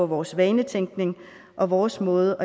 vores vanetænkning og vores måde